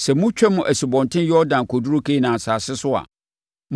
“Sɛ motwam Asubɔnten Yordan kɔduru Kanaan asase so a,